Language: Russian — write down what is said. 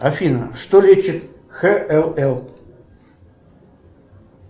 афина что лечит хлл